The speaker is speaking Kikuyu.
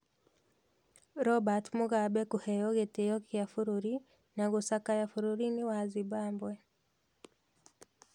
Robert Mugabe kũheo gĩtĩĩo kĩa bũrũri na gũcakaya bũrũriinĩ wa Zimbabwe.